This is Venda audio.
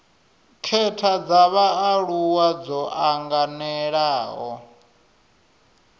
khetha dza vhaaluwa dzo anganelaho